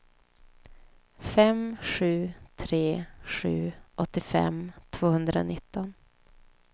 fem sju tre sju åttiofem tvåhundranitton